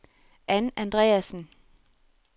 Ann Andreassen